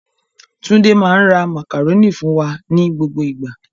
Tunde máa ń rà màkàrónì fún wà ní gbogbo ìgbà.